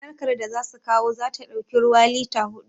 Jarkar da za su kawo za ta ɗauki ruwa lita huɗu